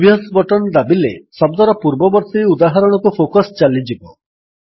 previous button ଦାବିଲେ ଶବ୍ଦର ପୂର୍ବବର୍ତ୍ତୀ ଉଦାହରଣକୁ ଫୋକସ୍ ଚାଲିଯିବ